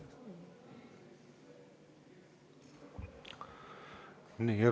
Aitäh!